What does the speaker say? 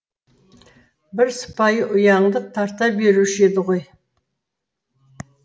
бір сыпайы ұяңдық тарта беруші еді ғой